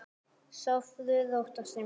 Sofðu rótt, ástin mín.